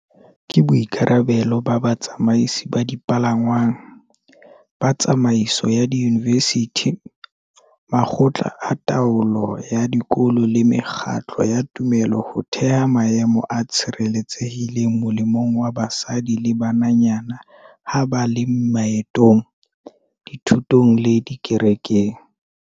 Ke boikarabelo ba batsamaisi ba dipalangwang, ba tsamaiso ya diyunivesithi, makgotla a taolo ya dikolo le mekgatlo ya tumelo ho theha maemo a tshireletsehileng molemong wa basadi le bananyana ha ba le maetong, dithutong le dikerekeng.